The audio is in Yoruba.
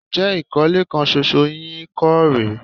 Ǹjẹ́ ìkólẹ̀ kan ṣoṣo yín kọ́ rè é?